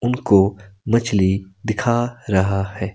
उनको मछली दिखा रहा है।